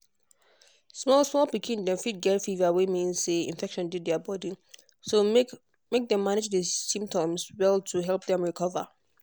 small small pikins dem fit get fever wey fit mean say infection dey their body so make make dem manage di symptoms well to help dem recover.